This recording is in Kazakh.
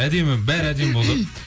әдемі бәрі әдемі